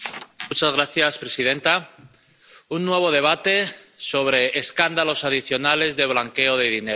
Señora presidenta, un nuevo debate sobre escándalos adicionales de blanqueo de dinero.